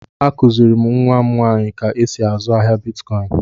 Akùziri m nwa m nwaanyị ka e sị azụ ahịa Bịtkọin